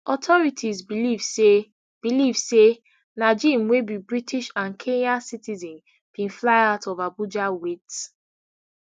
authorities believe say believe say najeem wey be british and kenyan citizen bin fly out of abuja wit